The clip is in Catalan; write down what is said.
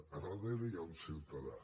a darrere hi ha un ciutadà